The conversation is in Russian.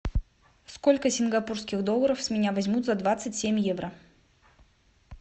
сколько сингапурских долларов с меня возьмут за двадцать семь евро